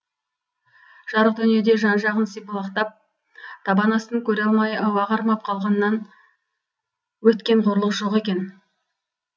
жарық дүниеде жан жағын сипалақтап табан астын көре алмай ауа қармап қалғаннан өткен қорлық жоқ екен